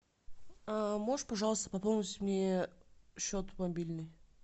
а можешь пожалуйста пополнить мне счет мобильный